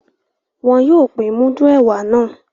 Wọn yóò pin mudu ẹwà náà